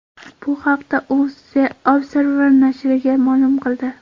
Bu haqda u The Observer nashriga ma’lum qildi .